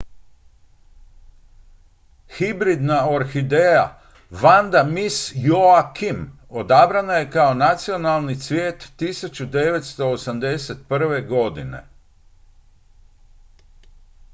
hibridna orhideja vanda miss joaquim odabrana je kao nacionalni cvijet 1981. godine